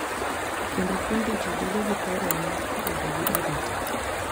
Kendo puonjo ji bedo gi paro mar bedo gi arita.